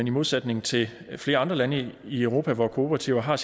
i modsætning til flere andre lande i europa hvor kooperativer har